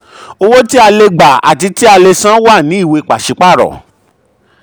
owó tí a le gba àti tí a le san wà ní ìwé pàsípàrọ̀.